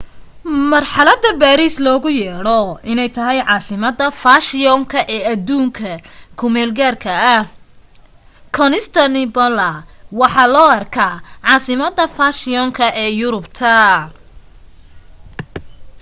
marxalada baariis loogu yeedho inay tahay caasimada faashiyoonka ee aduunyada ku meel gaarka ah constantinople waxaa loo arkaa caasimada fashiyoonka ee yurubta